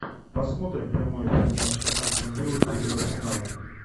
посмотрим прямой эфир матча астон вилла против арсенала